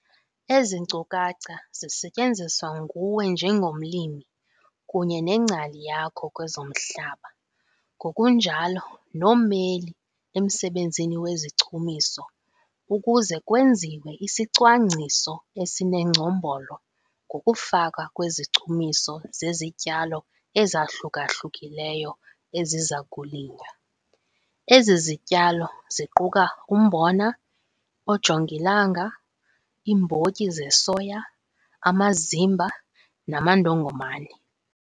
Ezi nkcukacha zisetyenziswa nguwe njengomlimi kunye nengcali yakho kwezomhlaba ngokunjalo nommeli emsebenzini wezichumiso ukuze kwenziwe isicwangciso esinengcombolo ngokufakwa kwezichumiso zezityalo ezahluka-hlukileyo eziza kulinywa. Ezi zityalo ziquka umbona, oojongilanga, iimbotyi zesoya, amazimba namandongomane.